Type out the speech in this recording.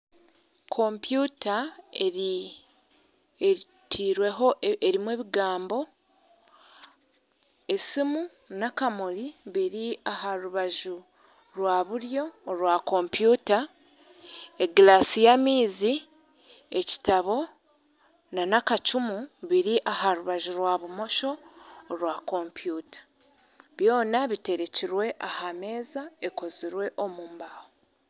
Kompyuta erimu ebigambo, esiimu n'akamuri biri aha rubaju rwa buryo orwa kompyuta egiraasi y'amaizi, ekitabo nana akacumu biri aha rubaju rwa bumosho orwa kompyuta byona biterekirwe aha meeza ekozirwe omu mbaho.